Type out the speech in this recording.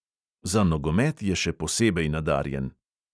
Za nogomet je še posebej nadarjen.